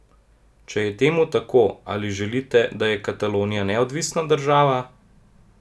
Če je temu tako, ali želite, da je Katalonija neodvisna država?